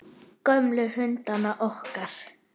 Gömlu hundana okkar.